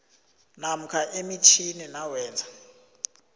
namkha emitjhini nawenza